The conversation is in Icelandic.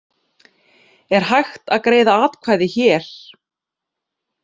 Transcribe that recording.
Er hægt að greiða atkvæði hér